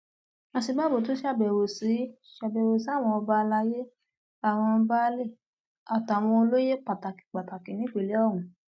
òsínbàbò tún ṣàbẹwò sí ṣàbẹwò sí àwọn ọba àlàyé àwọn baálé àtàwọn olóyè pàtàkì pàtàkì nípìnlẹ ọhún